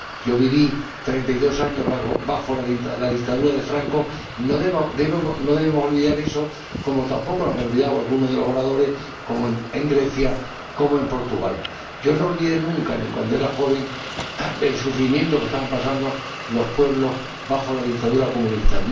Yo viví 32 años bajo la dictadura de Franco y no debo olvidar eso, como tampoco lo habrán olvidado algunos de los oradores, como en Grecia o en Portugal. Yo no olvidé nunca, ni cuando era joven, el sufrimiento que estaban pasando los pueblos bajo la dictadura comunista.